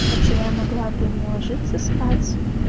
хотя я могла бы не ложиться спать